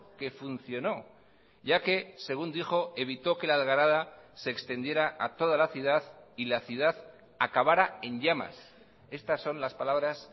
que funcionó ya que según dijo evitó que la algarada se extendiera a toda la ciudad y la ciudad acabara en llamas estas son las palabras